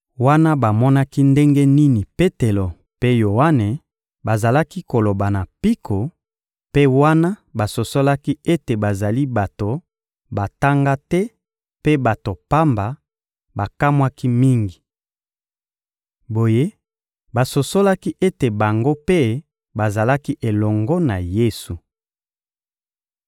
Wana bamonaki ndenge nini Petelo mpe Yoane bazalaki koloba na mpiko, mpe wana basosolaki ete bazali bato batanga te mpe bato pamba, bakamwaki mingi. Boye, basosolaki ete bango mpe bazalaki elongo na Yesu.